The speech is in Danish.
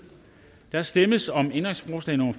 der stemmes om ændringsforslag nummer